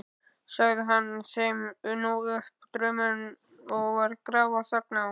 Sagði hann þeim nú upp drauminn og var grafarþögn á.